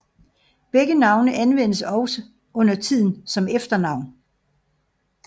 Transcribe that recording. Begge navne anvendes også undertiden som efternavn